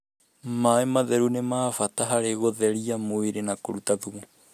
Maaĩ matheru nĩ ma bata harĩ gũtheria mwĩrĩ na kũruta thumu.